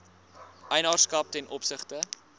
eienaarskap ten opsigte